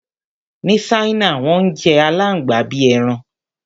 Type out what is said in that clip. Ní Ṣáínà, wọ́n ń jẹ àláǹgbà bí i ẹran.